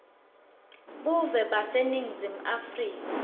buve baseningizimu afrika